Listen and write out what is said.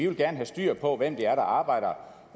vil have styr på hvem det er der arbejder